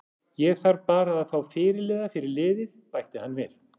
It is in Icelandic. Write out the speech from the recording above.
Ég þarf bara að fá fyrirliða fyrir liðið, bætti hann við.